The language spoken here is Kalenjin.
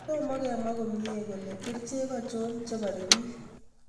" Tooma kemwaa komyiie kole kercheek ngircho chebaare piich'